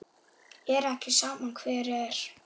Er ekki sama hver er?